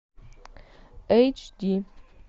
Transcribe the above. эйч ди